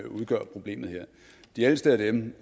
udgør problemet her de ældste af dem